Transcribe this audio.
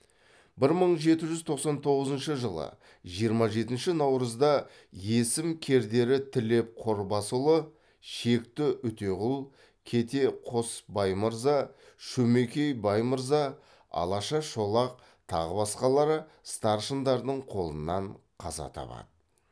бір мың жеті жүз тоқсан тоғызыншы жылы жиырма жетінші наурызда есім кердері тілеп қорбасұлы шекті үтеғұл кете қосбаймырза шөмекей баймырза алаша шолақ тағы басқалары старшындардың қолынан қаза табады